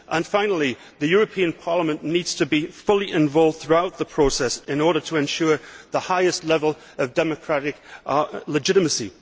Finally, the European Parliament needs to be fully involved throughout the process in order to ensure the highest level of democratic legitimacy.